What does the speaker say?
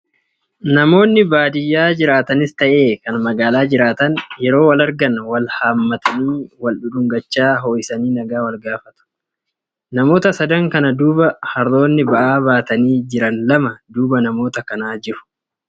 Namoonni baadiyyaa jiraatanis ta'ee kan magaalaa jiraatan, yeroo wal argan wal haammatanii wal dhudhungachaa ho'isanii nagaa wal gaafatu. Namoota sadan kana duuba harroonni ba'aa baatanii jiran lama duuba namoota kanaa jiru.